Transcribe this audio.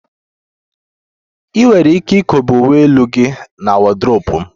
Ị nwere ike ikobe uwe elu gị na wọdrobu m